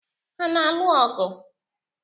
Ha na-alụ ọgụ?